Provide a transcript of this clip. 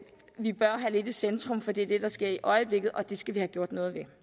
vi bør have lidt i centrum for det er det der sker i øjeblikket og det skal vi have gjort noget ved